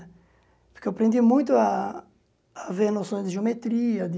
Porque eu aprendi muito a a ver noções de geometria, de...